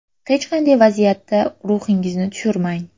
Hech qanday vaziyatda ruhingizni tushirmang.